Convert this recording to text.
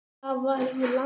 Það var í landi